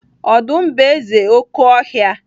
Ọdụm bụ eze oké ọhịa.